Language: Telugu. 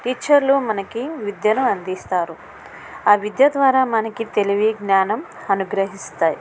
టీచర్లు మనకి విద్యను అదిస్తారు. ఆ విద్య ద్వారా మనకి తెలివి జ్ఞానం అనుగ్రహిస్తాయి.